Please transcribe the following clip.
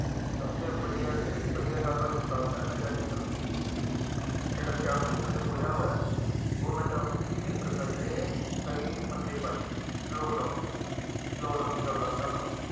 ਸਭ ਤੋਂ ਵਧੀਆ ਗੱਲ ਮੈਂ ਤੁਹਾਨੂੰ ਦੱਸਦਾ ਨਸ਼ਾ ਕੇਂਦਰ ਮੁਕਤੀ ਕਿ ਜਿਹੜਾ ਛਿਆਹਠ ਸੈਕਟਰ ਚ ਖੁੱਲ੍ਹਾ ਹੋਇਆ, ਉਹ ਨਸ਼ਾ ਮੁਕਤੀ ਕੇਂਦਰ ਕਰਕੇ ਕਈ ਬੰਦੇ ਬੱਚ ਗਏ, ਲਾਕਡਾਊਨ ਲਾਕਡਾਊਨ ਦੀ ਗੱਲ ਦੱਸਦਾਂ